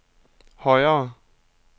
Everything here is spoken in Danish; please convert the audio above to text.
højere